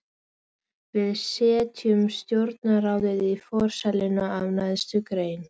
Við setjum stjórnarráðið í forsæluna af neðstu grein.